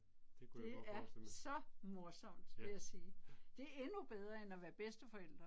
Det kunne jeg godt forestille mig. Ja, ja